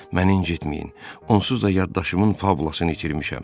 Mən incitməyin, onsuz da yaddaşımın fabulasını itirmişəm.